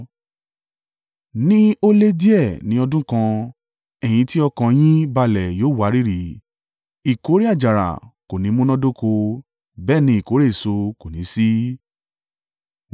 Ní ó lé díẹ̀ ní ọdún kan ẹ̀yin tí ọkàn an yín balẹ̀ yóò wárìrì; ìkórè àjàrà kò ní múnádóko, bẹ́ẹ̀ ni ìkórè èso kò ní sí.